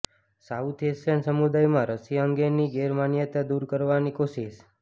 south Asian સમુદાયમાં રસી અંગેની ગેરમાન્યતા દૂર કરવાની કોશિશ